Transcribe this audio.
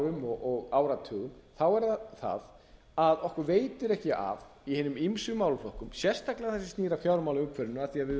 árum og áratugum þá er það það að okkur veitir ekki af í hinum ýmsu málaflokkum sérstaklega því sem snýr að fjármálaumhverfinu af því að við